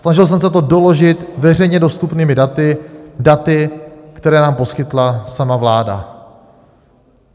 Snažil jsem se to doložit veřejně dostupnými daty, která nám poskytla sama vláda.